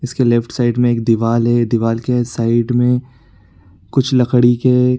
इसके left side में दीवाल है दीवाल के ए साइड में कुछ लकड़ी के --